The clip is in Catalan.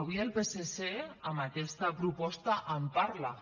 avui el psc amb aquesta proposta en parla